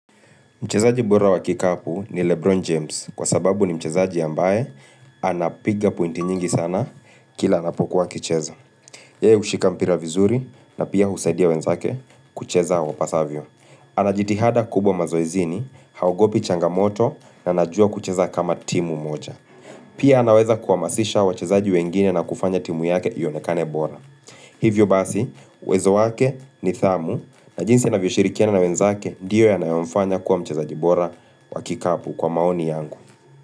Mchezaji bora wa kikapu ni Lebron James kwa sababu ni mchezaji ambaye anapiga pointi nyingi sana kila anapokuwa kicheza. Yeye hushika mpira vizuri na pia husaidia wenzake kucheza wapasavyo. Anajitihada kubwa mazoezini, haogopi changamoto na anajua kucheza kama timu moja. Pia anaweza kuhamasisha wachezaji wengine na kufanya timu yake ionekane bora. Hivyo basi, uwezo wake nidhamu na jinsi anavyo shirikiana na wenzake ndiyo yanayomfanya kuwa mchezaji bora wa kikapu kwa maoni yangu.